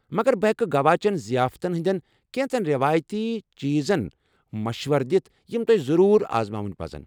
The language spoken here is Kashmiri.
مگر بہٕ ہیٚکہٕ گوا چین ضِیافتن ہندین كینژن ریوایتی چیٖزن مشورٕ دِتھ یِم تۄہہِ ضروٗر آزماوٕنہِ پزَن۔